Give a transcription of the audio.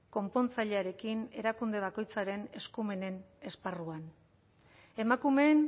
konpontzailearekin erakunde bakoitzaren eskumenen esparruan emakumeen